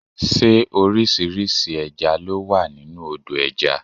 Ṣé orísìírísìí ẹja ló wà nínú Odò ẹja?